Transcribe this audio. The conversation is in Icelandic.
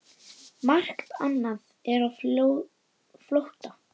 Margt annað er á flótta.